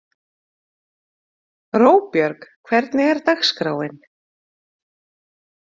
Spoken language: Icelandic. Róbjörg, hvernig er dagskráin?